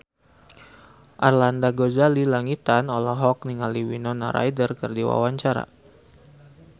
Arlanda Ghazali Langitan olohok ningali Winona Ryder keur diwawancara